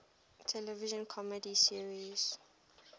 television comedy series